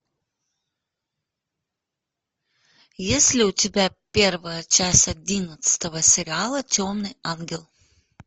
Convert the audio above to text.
есть ли у тебя первая часть одиннадцатого сериала темный ангел